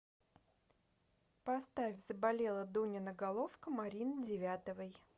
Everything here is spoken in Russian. поставь заболела дунина головка марины девятовой